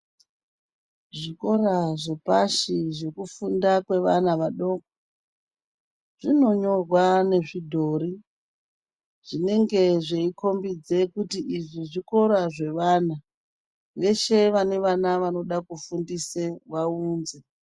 Zvikora zvepashi zvekufunda kwevana vadoko zvinonyorwa nezvidhori zvinenge zveikhombidza kuti izvi zvikora zvevana veshe vane vana vanoda kufundise vaunze.